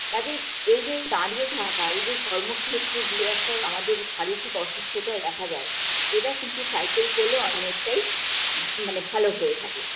কাজেই এই যে দাঁড়িয়ে থাকা এই যে কর্মক্ষেত্র যে একটা আমাদের শারীরিক অসুস্থতা দেখা যায় এটা কিন্তু cycle করলে অনেকটাই মানে ভালো হয়ে থাকে